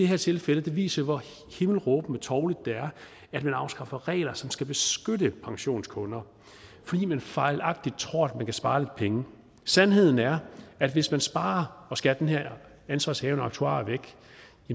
her tilfælde jo viser hvor himmelråbende tovligt det er at man afskaffer regler som skal beskytte pensionskunder fordi man fejlagtigt tror at man kan spare lidt penge sandheden er at hvis man sparer og skærer den her ansvarshavende aktuar væk